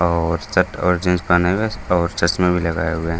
और शर्ट और जीन्स पहने हुए है और चश्मे भी लगाए हुए है।